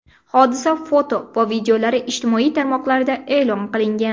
Hodisa foto va videolari ijtimoiy tarmoqlarda e’lon qilingan.